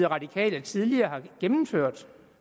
radikale tidligere har gennemført